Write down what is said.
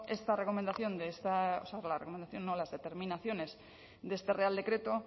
esta recomendación de esta o sea la recomendación no las determinaciones de este real decreto